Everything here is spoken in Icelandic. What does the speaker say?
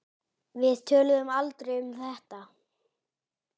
Við töluðum aldrei um þetta.